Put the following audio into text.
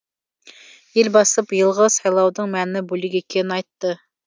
елбасы биылғы сайлаудың мәні бөлек екенін айтты